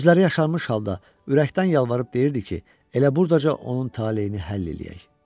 Gözləri yaşarmış halda ürəkdən yalvarıb deyirdi ki, elə buradaca onun taleyini həll eləyək.